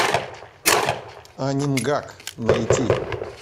анингак найти